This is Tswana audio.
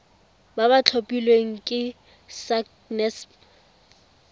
ba ba tlhophilweng ke sacnasp